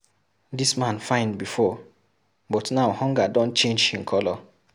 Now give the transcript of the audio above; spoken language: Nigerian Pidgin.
Dis man fine before, but now hunger don change him colour.